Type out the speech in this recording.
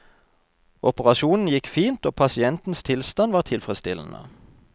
Operasjonen gikk fint, og pasientens tilstand var tilfredsstillende.